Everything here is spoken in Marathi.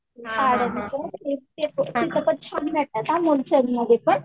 सद्य वगैरे ना तिथं पण छान भेटतात मुलचंद मध्ये पण.